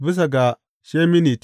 Bisa ga sheminit.